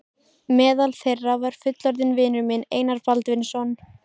Meðal þeirra var fullorðinn vinur minn, Einar Baldvinsson.